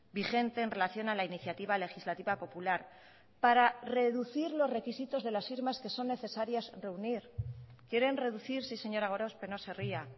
vigente en relación a la iniciativa legislativa popular para reducir los requisitos de las firmas que son necesarias reunir quieren reducir sí señora gorospe no se ría